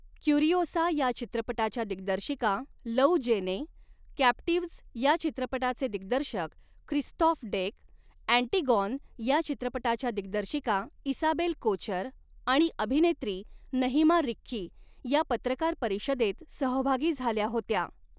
Curiosa या चित्रपटाच्या दिग्दर्शिका लौ जेने, कॅप्टीव्हज या चित्रपटाचे दिग्दर्शक क्रिस्तॉफ डेक, ॲण्टिगॉन या चित्रपटाच्या दिग्दर्शिका इसाबेल कोचर आणि अभिनेत्री नहिमा रिक्की या पत्रकार परिषदेत सहभागी झाल्या होत्या.